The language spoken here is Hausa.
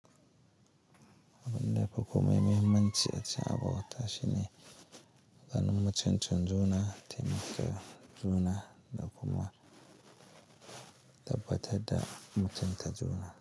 Abin da ba kome mahimmanci a ci abinci a bauta shine ganin mutuncin juna, taimaka juna da kuma tabbatar da mutunta juna.